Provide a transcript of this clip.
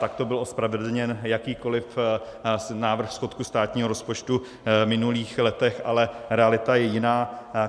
Takto byl ospravedlněn jakýkoliv návrh schodku státního rozpočtu v minulých letech, ale realita je jiná.